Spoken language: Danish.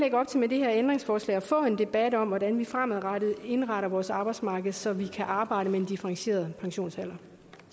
med det her ændringsforslag at få en debat om hvordan vi fremadrettet indretter vores arbejdsmarked så vi kan arbejde med en differentieret pensionsalder